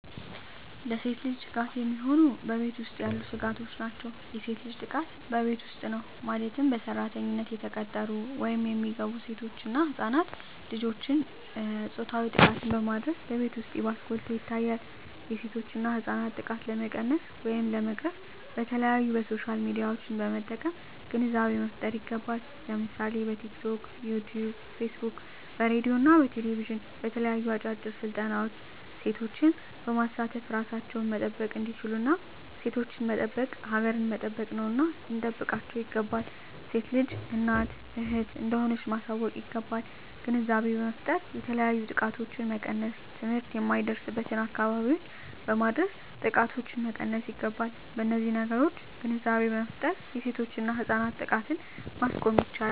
ለሴት ልጅ ስጋት የሚሆኑ በቤት ውስጥ ያሉ ስጋቶች ናቸው። የሴት ልጅ ጥቃት በቤት ውስጥ ነው ማለትም በሰራተኝነት የተቀጠሩ ወይም የሚገቡ ሴቶች እና ህፃናት ልጆችን ፆታዊ ጥቃትን በማድረስ በቤት ውስጥ ይባስ ጎልቶ ይታያል የሴቶችና ህፃናት ጥቃት ለመቀነስ ወይም ለመቅረፍ በተለያዪ በሶሻል ሚዲያዎችን በመጠቀም ግንዛቤ መፍጠር ይገባል ለምሳሌ በቲክቶክ, በዩቲቪ , በፌስቡክ በሬድዬ እና በቴሌቪዥን በተለያዩ አጫጭር ስልጠናዎች ሴቶችን በማሳተፍ እራሳቸውን መጠበቅ እንዲችሉና ሴቶችን መጠበቅ ሀገርን መጠበቅ ነውና ልንጠብቃቸው ይገባል። ሴት ልጅ እናት እህት እንደሆነች ማሳወቅ ይገባል። ግንዛቤ በመፍጠር የተለያዩ ጥቃቶችን መቀነስ ትምህርት የማይደርስበትን አካባቢዎች በማድረስ ጥቃቶችን መቀነስ ይገባል። በነዚህ ነገሮች ግንዛቤ በመፍጠር የሴቶችና የህፃናት ጥቃትን ማስቆም ይቻላል።